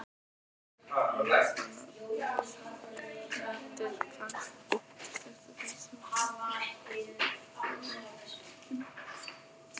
Eiginkona predikarans er í stuttu pilsi og flaggar fögrum leggjum.